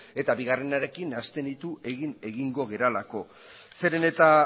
eta bigarrenarekin nahasten ditu egin egingo garelako zeren eta